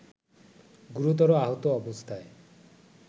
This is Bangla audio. গুরুতর আহত অবস্থায়